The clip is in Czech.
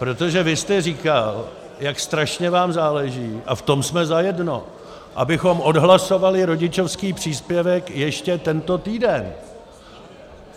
Protože vy jste říkal, jak strašně vám záleží, a v tom jsme zajedno, abychom odhlasovali rodičovský příspěvek ještě tento týden.